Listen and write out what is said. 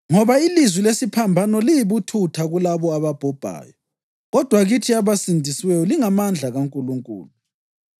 Ngoba ilizwi lesiphambano liyibuthutha kulabo ababhubhayo, kodwa kithi abasindisiweyo lingamandla kaNkulunkulu.